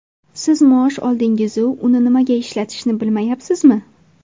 Siz maosh oldingiz-u uni nimaga ishlatishni bilmayapsizmi?